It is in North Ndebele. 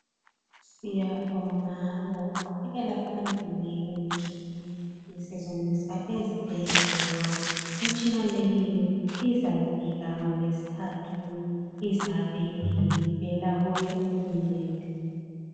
Siyabonga ngokuqhubekela phambili kwemitshina esetshenziswa ezibhedlela. Imitshina leyi izafika ngolwesithathu. Izabe ivela kuye uhulumende.